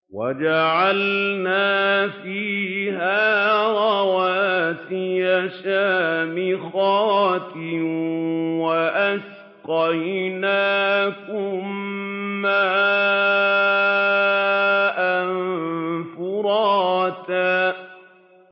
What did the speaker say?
وَجَعَلْنَا فِيهَا رَوَاسِيَ شَامِخَاتٍ وَأَسْقَيْنَاكُم مَّاءً فُرَاتًا